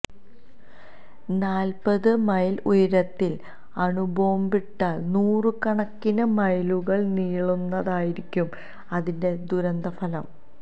നാല്പ്പത് മൈല് ഉയരത്തില് അണുബോംബിട്ടാല് നൂറുകണക്കിന് മൈലുകള് നീളുന്നതായിരിക്കും അതിന്റെ ദുരന്തഫലം